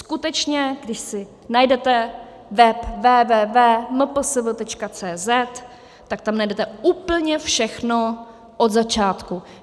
Skutečně, když si najdete web www.mpsv.cz, tak tam najdete úplně všechno od začátku.